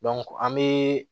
an bɛ